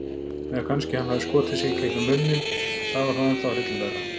Eða kannski hann hafi skotið sig gegnum munninn- það var ennþá hryllilegra.